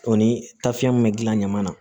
O ni tafiya min be gilan ɲama na